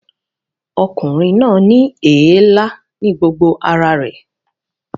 Ọkùnrin náà ní èélá ní gbogbo ara rẹ̀